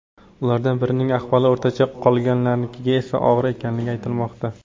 Ulardan birining ahvoli o‘rtacha, qolganlariniki esa og‘ir ekanligi aytilmoqda.